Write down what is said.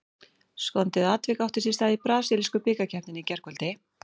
Skondið atvik átti sér stað í brasilísku bikarkeppninni í gærkvöldi.